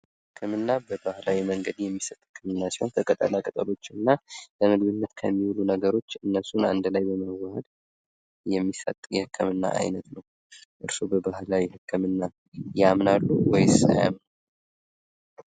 ህክምና በባህላዊ መንገድ የሚሰጠው ህክምና ሲሆን በቅጠላቅጠሎች እና ለምግብነት ከሚውሉ ነገሮች እነሱን አንድ ላይ ለማዋሀድ የሚሰጥ የህክምና አይነት ነው ። እርሶ በባህላዊ ህክምና ያምናሉ ወይም አያምኑም ?